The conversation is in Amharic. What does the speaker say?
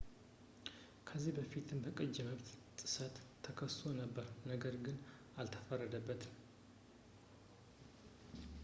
ከዚህ በፊትም በቅጂ መብት ጥሰት ተከሶ ነበር ነገር ግን አልተፈረደበትም